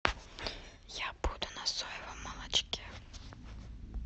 я буду на соевом молочке